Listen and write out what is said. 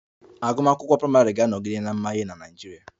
Agụmakwụkwọ praịmarị ga-anọgide na-amanye na Naịjirịa